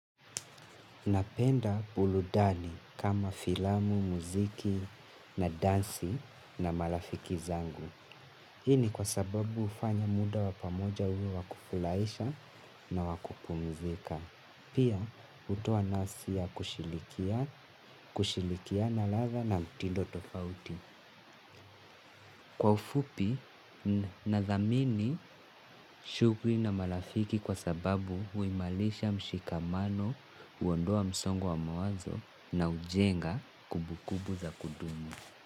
Napenda buludani kama filamu, muziki na dansi na malafiki zangu. Hii ni kwa sababu hufanya muda wa pamoja uwe wa kufulaisha na wa kupumzika. Pia hutia kasi ya kushirikiana ladha na mtindo tofauti. Kwa ufupi nathamini shughli na malafiki kwa sababu huimalisha mshikamano huondoa msongo wa mawazo na hujenga kumbukumbu za kudumu.